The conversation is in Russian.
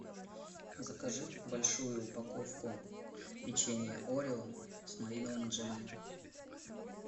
закажи большую упаковку печенья орео с малиновым джемом